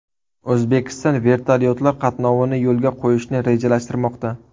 O‘zbekiston vertolyotlar qatnovini yo‘lga qo‘yishni rejalashtirmoqda.